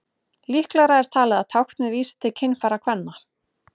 líklegra er talið að táknið vísi til kynfæra kvenna